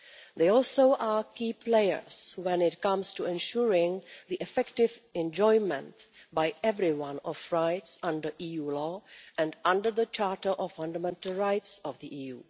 They are also key players when it comes to ensuring the effective enjoyment by everyone of rights under EU law and under the Charter of Fundamental Rights of the EU.